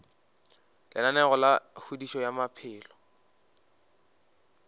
lenaneo la kgodišo ya maphelo